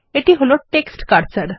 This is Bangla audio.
এটি টেক্সট কার্সার